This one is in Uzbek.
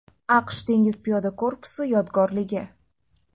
AQSh dengiz piyoda korpusi yodgorligi.